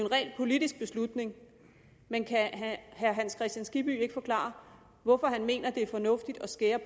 ren politisk beslutning men kan herre hans kristian skibby ikke forklare hvorfor han mener det er fornuftigt at skære